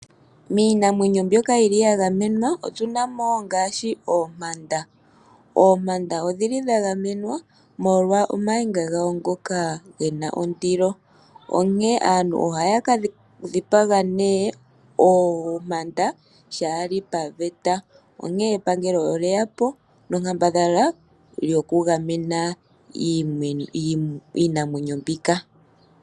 Miinamwenyo mbyoka yi li ya gamenwa otu na mo ngaashi oompanda. Oompanda odhi li dha gamenwa, molwa omayinga gawo ngoka ge na ondilo, onkene aantu ohaya ka dhipaga nee oompanda shaa li paveta. Onkene epangelo olye ya po nonkambadhala yokugamena iinamwenyo mbika.